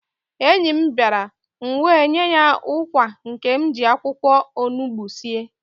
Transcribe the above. Enyi m bịara, m wee nye ya ụkwa nke m ji akwụkwọ onugbu sie